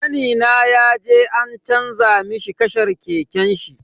Kanina yaje an canza mishi kashar keken shi.